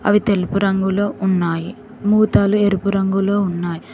అవి తెలుపు రంగులో ఉన్నాయి మూతలు ఎరుపు రంగులో ఉన్నాయి.